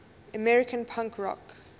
american punk rock